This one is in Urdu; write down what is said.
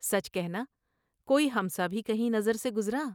سچ کہنا کوئی ہم سا بھی کہیں نظر سے گزرا ۔